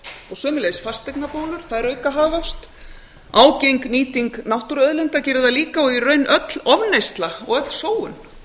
og sömuleiðis fasteignabólur þær auka hagvöxt ágeng nýting náttúruauðlinda gerir það líka og í raun öll ofneysla og öll sóun